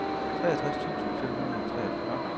treogtres tusind fem hundrede og treogfyrre